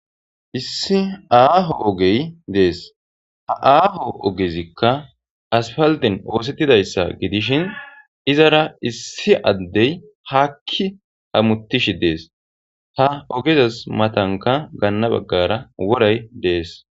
issi aaho ogey dees ha aaho ogezikka aspalden oosettidayssa gidishin izara issi addey haakki hammutishi dees ha ogezas matanka gaanna baggara woray dees